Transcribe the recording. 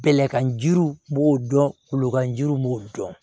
Bɛlɛkan jiriw b'o dɔn kulokan jiri b'o dɔn